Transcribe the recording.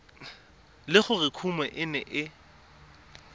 le gore kumo e ne